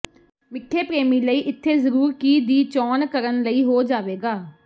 ਮਿੱਠੇ ਪ੍ਰੇਮੀ ਲਈ ਇੱਥੇ ਜ਼ਰੂਰ ਕੀ ਦੀ ਚੋਣ ਕਰਨ ਲਈ ਹੋ ਜਾਵੇਗਾ